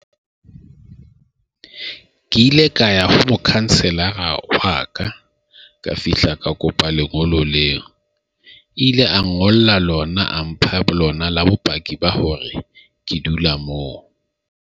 ke ile ka ya ho mokhanselara wa ka, ka fihla, ka kopa lengolo leo. E ile a ngolla lona a mpha lona la bopaki ba hore ke dula moo.